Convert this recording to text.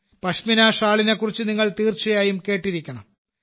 പഷ്മിന ഷാളിനെക്കുറിച്ച് നിങ്ങൾ തീർച്ചയായും കേട്ടിരിക്കണം